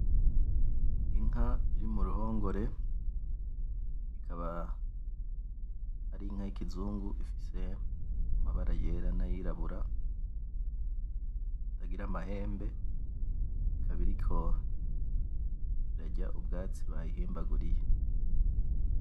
Inka iri muruhongore ikaba ari inka y’ikizungu ifise amabara yera n’ayirabura itagira amahembe ikaba iriko irarya ubwatsi bayihimbaguriye.